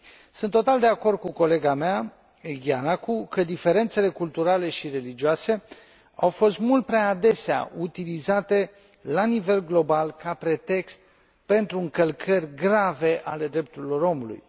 Sunt total de acord cu colega mea, Giannakou, că diferențele culturale și religioase au fost mult prea adesea utilizate la nivel global ca pretext pentru încălcări grave ale drepturilor omului.